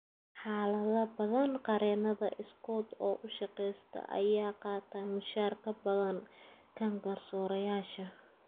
Xaalado badan, qareenada iskood u shaqeysta ayaa qaata mushaar ka badan kan garsoorayaasha.